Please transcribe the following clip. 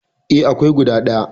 E, akwai guda ɗaya.